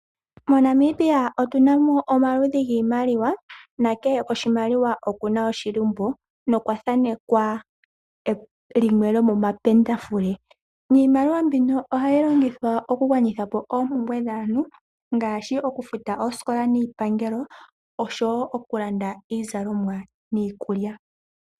MoNamibia otuna mo omaludhi giimaliwa, na kehe oshimaliwa okuna oshilimbo nokwa thanekwa limwe lyo momapendafule. Niimaliwa mbino ohayi longithwa oku gwanitha po oompumbwe dhaantu ngaashi oku futa oosikola niipangelo osho woo oku landa iizalonwa niikulya.